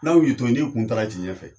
N'aw y'i to ye n'i kun taara ci ɲɛfɛ